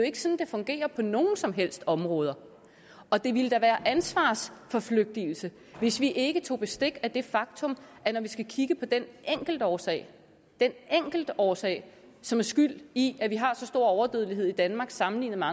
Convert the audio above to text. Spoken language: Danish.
ikke sådan det fungerer på nogen som helst områder og det ville da være ansvarsforflygtigelse hvis vi ikke tog bestik af det faktum at når vi skal kigge på den enkeltårsag den enkeltårsag som er skyld i at vi har så stor overdødelighed i danmark sammenlignet med